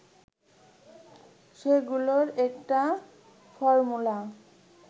সেগুলোর একটা ফর্মূলা